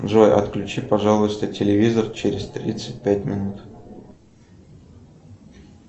джой отключи пожалуйста телевизор через тридцать пять минут